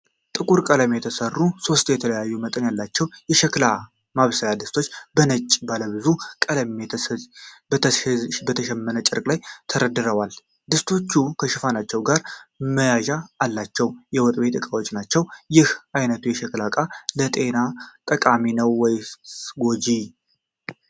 በጥቁር ቀለም የተሰሩ ሶስት የተለያዩ መጠኖች ያሏቸው የሸክላ ማብሰያ ድስቶች በነጭና ባለብዙ ቀለም በተሸመነ ጨርቅ ላይ ተደርድረዋል። ድስቶቹ ከሽፋኖቻቸው ጋር መያዣ አላቸው። የወጥ ቤት እቃዎች ናቸው። ይህ አይነቱ የሸክላ እቃ ለጤና ጠቃሚ ነው ወይስ ጎጂ?